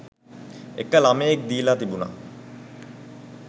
එක ළමයෙක් දීලා තිබුණා